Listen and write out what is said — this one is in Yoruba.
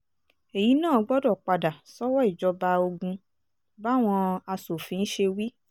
èyí náà gbọ́dọ̀ padà sọ́wọ́ ìjọba ogun báwọn asòfin ṣe wí